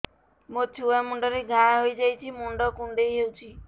ମୋ ଛୁଆ ମୁଣ୍ଡରେ ଘାଆ ହୋଇଯାଇଛି ମୁଣ୍ଡ କୁଣ୍ଡେଇ ହେଉଛି